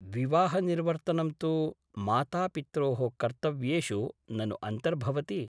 विवाहनिर्वर्तनं तु मातापित्रोः कर्तव्येषु ननु अन्तर्भवति ?